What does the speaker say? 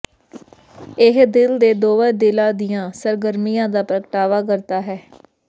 ਇਹ ਦਿਲ ਦੇ ਦੋਵਾਂ ਦਿਲਾਂ ਦੀਆਂ ਸਰਗਰਮੀਆਂ ਦਾ ਪ੍ਰਗਟਾਵਾ ਕਰਦਾ ਹੈ